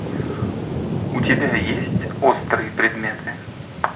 у тебя есть острые предметы